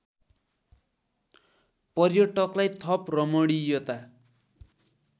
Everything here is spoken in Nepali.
पर्यटकलाई थप रमणीयता